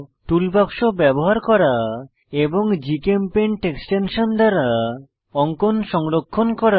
টুল বাক্স ব্যবহার করা এবং gchempaint এক্সটেনশন দ্বারা অঙ্কন সংরক্ষণ করা